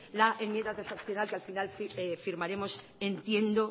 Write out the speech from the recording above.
la enmienda transaccional que al final firmaremos entiendo